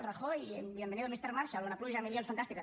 rajoy bienvenido mister marshall una pluja de milions fantàstica